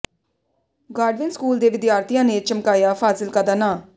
Godwin school ਦੇ ਵਿਦਿਆਰਥੀਆਂ ਨੇ ਚਮਕਾਇਆ ਫ਼ਾਜ਼ਿਲਕਾ ਦਾ ਨਾਂਅ